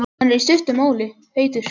Hann er, í stuttu máli, heitur.